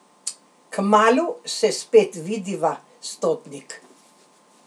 Kmalu se spet vidiva, stotnik.